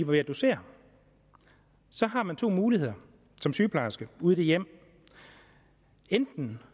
ved at dosere så har man to muligheder som sygeplejersker ude i det hjem enten